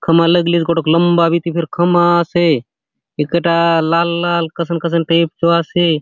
खम्बा लगलीसे गोटोक लम्बा बीती फेर खमा आसे ए कटा लाल - लाल कसन - कसन टाइप चो आसे।